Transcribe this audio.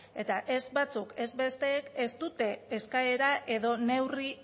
eta ez batzuk ez besteek ez dute eskaera edo neurri